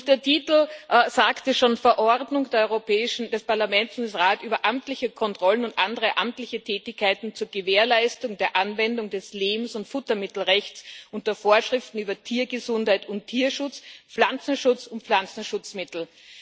Der Titel sagte schon Verordnung des Europäischen Parlament und des Rates über amtliche Kontrollen und andere amtliche Tätigkeiten zur Gewährleistung der Anwendung des Lebens und Futtermittelrechts und der Vorschriften über Tiergesundheit und Tierschutz, Pflanzengesundheit und Pflanzenschutzmittel.